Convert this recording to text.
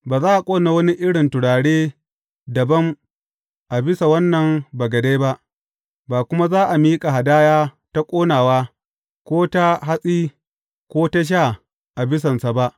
Ba za a ƙona wani irin turare dabam a bisa wannan bagade ba, ba kuma za a miƙa hadaya ta ƙonawa, ko ta hatsi, ko ta sha a bisansa ba.